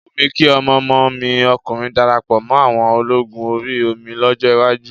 Ó wù mí kí ọmọ ọmọ mi ọkùnrin darapọ̀ mọ́ àwọn ológun orí omi lọ́jọ́ iwájú.